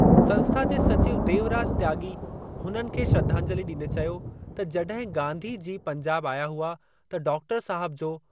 संस्था जे सचिव देवराज त्याॻी हुननि खे श्रधांजलि ॾींदे चयो त जॾहिं गाधी जी पंजाब आया हुआ त डॉ साहब जो